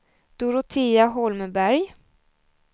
Dorotea Holmberg